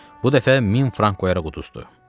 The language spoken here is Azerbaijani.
Bu dəfə 1000 frank qoyaraq uduzdu.